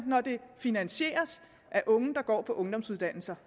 når det finansieres af unge der går på ungdomsuddannelser